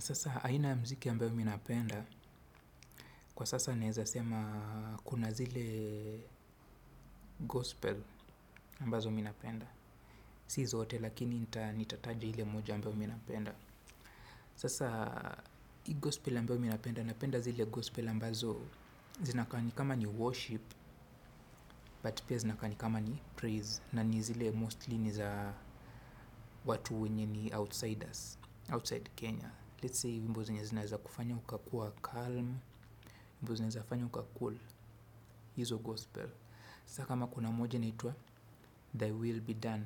Sasa aina mziki ambayo mi napenda, kwa sasa naeza sema kuna zile gospel ambazo mi napenda. Si zote lakini nitataja ile moja ambayo mi napenda. Sasa ii gospel ambayo mi napenda napenda zile gospel ambazo zinakaa ni kama ni worship but pia zinakaa ni kama ni praise na ni zile mostly ni za watu wenye ni outsiders, outside Kenya. Let's say wimbo zenye zinaeza kufanya ukakuwa calm, wimbo zenye zafanya uka cool, hizo gospel. Sasa kama kuna moja inaitwa, they will be done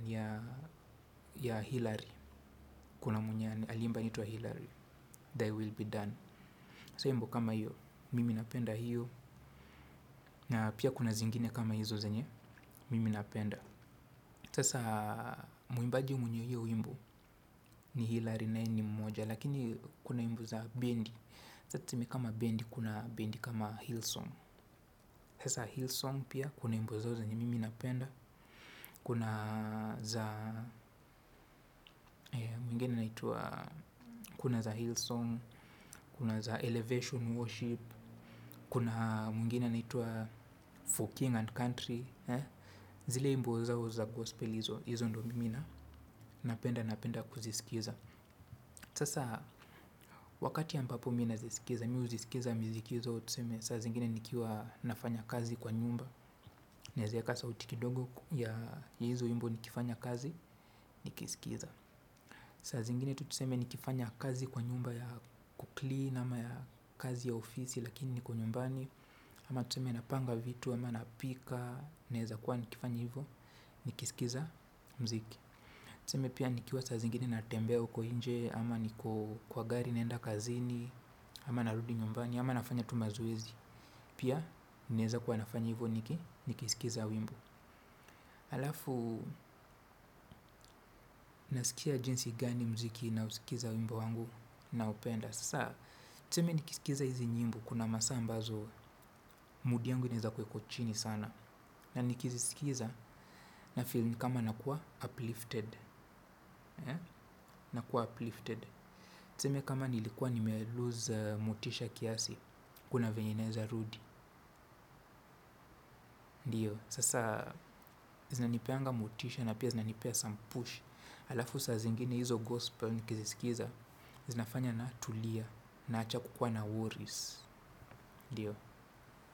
ya Hillary. Kuna mwenye aliimba anaitwa Hillary, they will be done. Sasa wimbo kama hiyo, mimi napenda hiyo. Na pia kuna zingine kama hizo zenye, mimi napenda. Sasa muimbaji mwenye hiyo wimbo ni Hillary na yeye ni mmoja. Lakini kuna wimbo za bendi, saa tuseme kama bendi kuna bendi kama Hillsong. Sasa Hillsong pia, kuna wimbo zao zenye mimi napenda. Kuna mwingine anaitwa kuna za Hillsong, kuna za Elevation Worship. Kuna mwingine anaitwa For King and Country. Zile wimbo zao za Gospel izo ndo mimi na napenda, napenda kuzisikiza. Sasa wakati ambapo mi nazisikiza Mi huzisikiza, miziki zao tuseme saa zingine nikiwa nafanya kazi kwa nyumba. Naeza eka sauti kidogo ya izo wimbo nikifanya kazi. Nikisikiza saa zingine tutuseme nikifanya kazi kwa nyumba ya kuclean ama ya kazi ya ofisi lakini niko nyumbani. Ama tutuseme napanga vitu. Ama napika. Naeza kuwa nikifanya hivyo. Nikisikiza mziki. Tuseme pia nikiwa saa zingine natembea uko nje. Ama niko kwa gari naenda kazini. Ama narudi nyumbani. Ama nafanya tu mazoezi. Pia naeza kuwa nafanya hivyo niki nikisikiza wimbo Alafu Nasikia jinsi gani mziki nausikiza wimbo wangu. Naupenda. Sasa tuseme nikisikiza hizi nyimbo. Kuna masaa ambazo Mood yangu inaeza kuwa iko chini sana. Na nikizisikiza na feel ni kama nakua uplifted. Nakua uplifted. Tuseme kama nilikua nime lose motisha kiasi. Kuna vyenye inaeza rudi ndio. Sasa zinanipeanga motisha. Na pia zinanipea some push. Alafu saa zingine hizo gospel Nikizisikiza Zinafanya natulia. Naacha kukua na worries ndio.